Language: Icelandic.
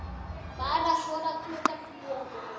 Bara svona klukkan fjögur.